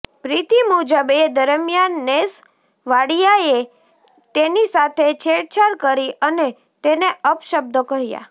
પ્રીતિ મુજબ એ દરમિયાન નેસ વાડિયાએ તેની સાથે છેડછાડ કરી અને તેને અપશબ્દો કહ્યા